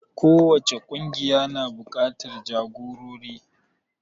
Kowace ƙungiya na buƙatar jagorori.